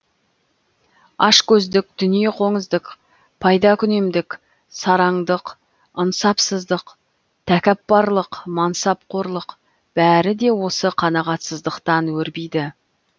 ашкөздік дүниеқоңыздық пайдакүнемдік сараңдық ынсапсыздық тәкаппарлық мансапқорлық бәрі де осы қанағатсыздықтан өрбиді